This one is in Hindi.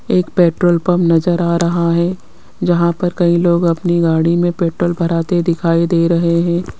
एक पेट्रोल पंप नजर आ रहा है जहां पर कई लोग अपनी गाड़ी में पेट्रोल भर आते दिखाई दे रहे हैं।